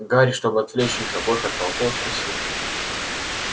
гарри чтобы отвлечь их обоих от пауков спросил